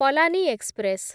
Palani express